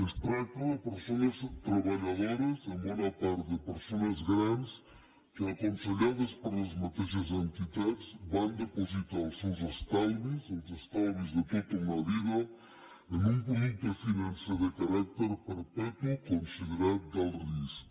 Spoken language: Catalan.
es tracta de persones treballadores en bona part de persones grans que aconsellades per les mateixes entitats van depositar els seus estalvis els estalvis de tota una vida en un producte financer de caràcter perpetu considerat d’alt risc